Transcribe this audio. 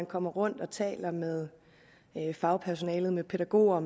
kommer rundt og taler med fagpersonale med pædagoger